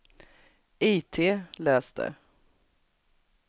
itläs det